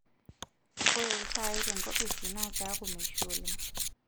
Ore iltaai tenkopisi naa keeku meishu oleng'.